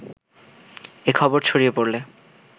এ খবর ছড়িয়ে পড়লে